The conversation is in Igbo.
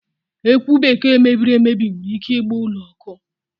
Ekwụ Bekee mebiri emebi nwere ike ịgba ụlọ ọkụ.